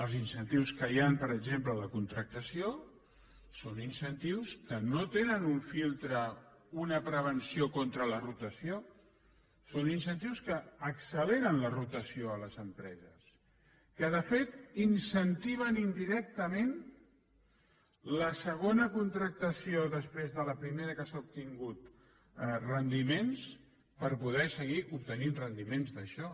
els incentius que hi han per exemple a la contractació són incentius que no tenen un filtre una pre venció contra la rotació són incentius que acceleren la ro tació a les empreses que de fet incentiven indirectament la segona contractació després de la primera que s’ha obtingut rendiments per poder seguir obtenint rendiments d’això